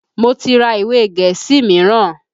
Mo ti ra ìwe gẹ̀ẹ́sì míràn.